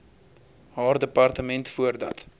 haar departement voordat